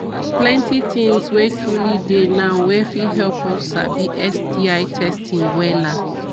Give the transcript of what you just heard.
plenty things were truely dey now wey fit help us sabi sti testing wella